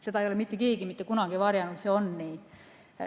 Seda ei ole mitte keegi mitte kunagi varjanud, see on nii.